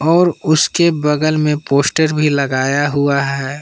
और उसके बगल में पोस्टर भी लगाया हुआ है।